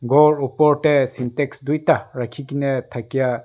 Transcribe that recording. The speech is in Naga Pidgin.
ghor opor dae syntex duida rakhikena thakya.